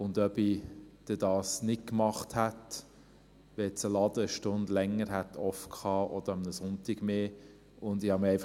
Ob ich dies nicht gemacht hätte, wenn ein Laden eine Stunde länger oder einen Sonntag mehr offen gehabt hätte?